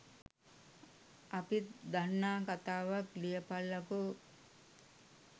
අපිත් දන්නා කතාවක් ලියපල්ලකෝ